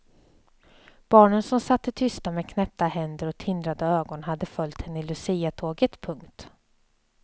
Barnen som satte tysta med knäppta händer och tindrande ögon hade följt henne i luciatåget. punkt